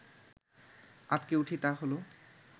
আঁতকে উঠি তা হল